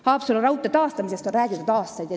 Haapsalu raudtee taastamisest on räägitud aastaid.